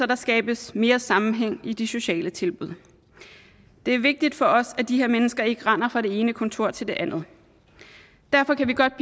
der skabes mere sammenhæng i de sociale tilbud det er vigtigt for os at de her mennesker ikke render fra det ene kontor til det andet derfor kan vi godt